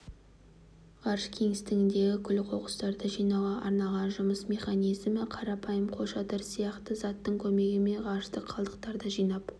ғарыш кеңістігіндегі күл-қоқыстарды жинауға арналған жұмыс механизмі қарапайым қолшатыр сияқты заттың көмегімен ғарыштық қалдықтарды жинап